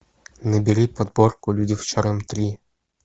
набери подборку люди в черном три